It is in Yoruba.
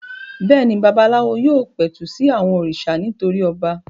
Bẹ́ẹ̀ ni, babaláwo yóò pẹ̀tù sí àwọn òrìṣà nítorí ọba.